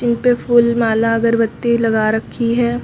उनपे फूल माला अगरबत्ती लगा रखी है।